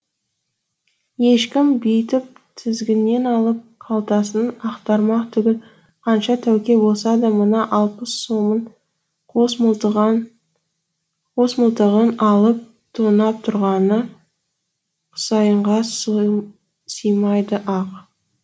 ешкім бүйтіп тізгіннен алып қалтасын ақтармақ түгіл қанша тәуке болса да мына алпыс сомын қос мылтығын алып тонап тұрғаны құсайынға сыймайды ақ